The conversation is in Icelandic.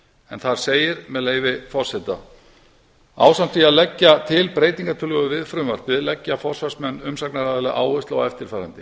en þar segir með leyfi forseta ásamt því að leggja til breytingartillögu við frumvarpið leggja forsvarsmenn umsagnaraðila áherslu á eftirfarandi